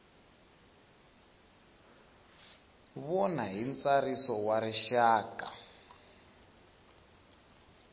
vona hi ntsariso wa rixaka